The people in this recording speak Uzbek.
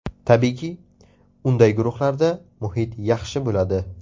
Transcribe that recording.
Tabiiyki, unday guruhlarda muhit yaxshi bo‘ladi.